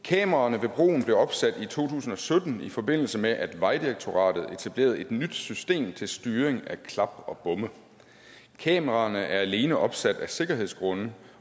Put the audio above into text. kameraerne ved broen blev opsat i to tusind og sytten i forbindelse med at vejdirektoratet etablerede et nyt system til styring af klap og bomme kameraerne er alene opsat af sikkerhedsgrunde